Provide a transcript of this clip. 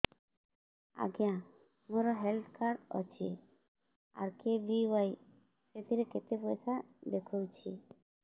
ଆଜ୍ଞା ମୋର health card ଅଛି ଆର୍.କେ.ବି.ୱାଇ ସେଥିରେ କେତେ ପଇସା ଦେଖଉଛି